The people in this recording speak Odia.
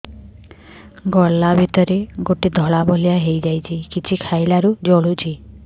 ଗଳା ଭିତରେ ଗୋଟେ ଧଳା ଭଳିଆ ହେଇ ଯାଇଛି କିଛି ଖାଇଲାରୁ ଜଳୁଛି